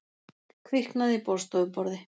Kviknaði í borðstofuborði